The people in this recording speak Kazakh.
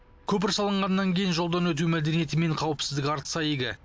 көпір салынғаннан кейін жолдан өту мәдениеті мен қауіпсіздігі артса игі